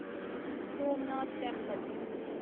Somnath temple